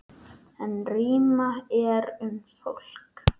En rýmra er um fólk.